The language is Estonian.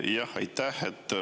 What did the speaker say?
Aitäh!